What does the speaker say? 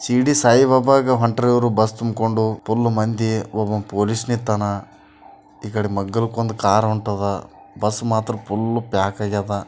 ಶಿರಿಡಿ ಸಾಯಿ ಬಾಬಾಗೆ ಹೊಂತರು ಇವರು ಬಸ್ ತುಂಬುಕೊಂಡು ಫುಲ್ ಮಂದಿ ಒಬ್ಬ ಪೊಲೀಸ್ ಇರ್ತನ ಈಕಡೆ ಮಗಲಿಕ್ಕೆ ಒಂದು ಕಾರ್ ಹೊಂತರ ಬಸ್ ಮಾತ್ರ ಫುಲ್ ಪ್ಯಾಕ್ ಆಗಾಯ್ತ.